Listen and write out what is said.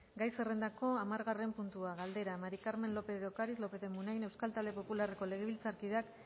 gai zerrendako hamargarren puntua galdera maría del carmen lópez de ocariz lópez de munain euskal talde popularreko legebiltzarkideak